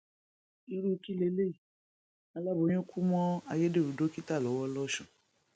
irú kí leléyìí aláboyún kú mọ ayédèrú dókítà lọwọ lọsùn